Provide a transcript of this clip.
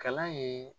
Kalan ye